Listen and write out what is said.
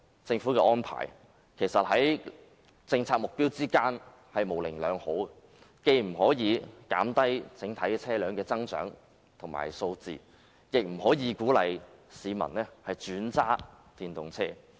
政府這項安排，確實違背其政策目標，既無法減低整體車輛的增長和數目，亦不能鼓勵市民轉為駕駛電動車。